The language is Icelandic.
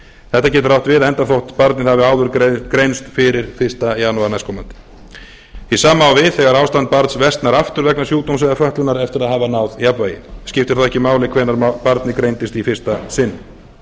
þetta getur átt við enda þótt barnið hafi áður greinst fyrir fyrsta janúar næstkomandi hið sama á við þegar ástand barns versnar aftur vegna sjúkdóms eða fötlunar eftir að hafa náð jafnvægi skiptir þá ekki máli hvernig barnið greindist í fyrsta sinn